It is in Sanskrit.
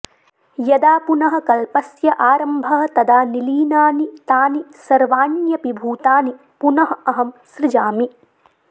यदा पुनः कल्पस्य आरम्भः तदा निलीनानि तानि सर्वाण्यपि भूतानि पुनः अहं सृजामि